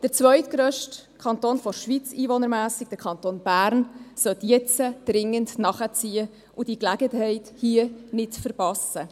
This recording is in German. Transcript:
Der einwohnermässig zweitgrösste Kanton der Schweiz, der Kanton Bern, sollte jetzt dringend nachziehen und diese Gelegenheit nicht verpassen.